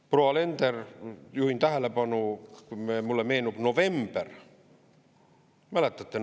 Proua Alender, juhin tähelepanu, mulle meenub november – mäletate?